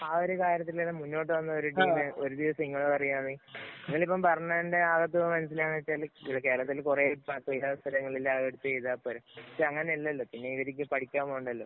ആ ഒരു കാര്യത്തില്‍ മുന്നോട്ടു വന്ന ഒരു ഡിലെ ഒരു ദിവസം ഇങ്ങള് പറയുകയാണ്. നിങ്ങള് ഇപ്പം പറഞ്ഞതിനകത്ത് മനസിലാകുന്നെ എന്ന് വച്ചാല്‍ കേരളത്തില്‍ കുറെഎടുത്തു ചെയ്താ പോരെ. പക്ഷേ അങ്ങനെ അല്ലല്ലോ. പിന്നെ ഇവര്ക്ക് പഠിക്കാന്‍ പോണ്ടല്ലോ.